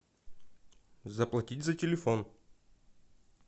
заплатить за телефон